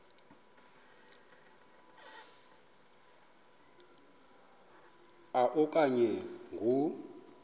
a okanye ngo